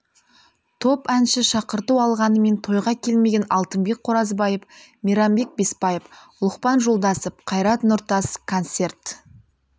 топ әнші шақырту алғанымен тойға келмеген алтынбек қоразбаев мейрамбек бесбаев лұқпан жолдасов қайрат нұртас концерт